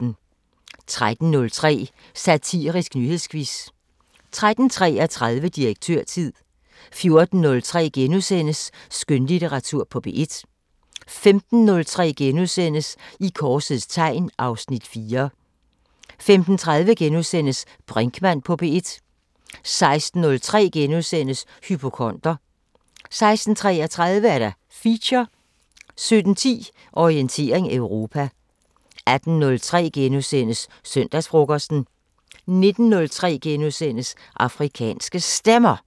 13:03: Satirisk nyhedsquiz 13:33: Direktørtid 14:03: Skønlitteratur på P1 * 15:03: I korsets tegn (Afs. 4)* 15:30: Brinkmann på P1 * 16:03: Hypokonder * 16:33: Feature 17:10: Orientering Europa 18:03: Søndagsfrokosten * 19:03: Afrikanske Stemmer *